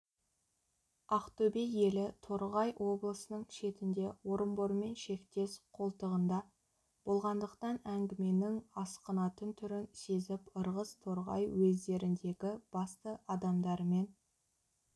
ақтөбе елі торғай облысының шетінде орынбормен шектес қолтығында болғандықтан әңгіменің асқынатын түрін сезіп ырғыз торғай уездеріндегі басты адамдарымен